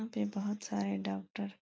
यहाँ पे बोहत सारे डॉक्टर --